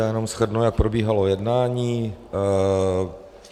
Já jenom shrnu, jak probíhalo jednání.